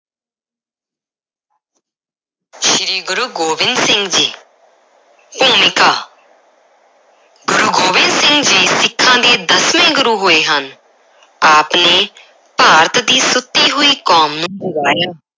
ਸ਼੍ਰੀ ਗੁਰੂ ਗੋਬਿੰਦ ਸਿੰਘ ਜੀ ਭੂਮਿਕਾ ਗੁਰੂ ਗੋਬਿੰਦ ਸਿੰਘ ਜੀ ਸਿੱਖਾਂ ਦੇ ਦਸਵੇਂ ਗੁਰੂ ਹੋਏ ਹਨ ਆਪ ਨੇ ਭਾਰਤ ਦੀ ਸੁੱਤੀ ਹੋਈ ਕੌਮ ਨੂੰ ਜਗਾਇਆ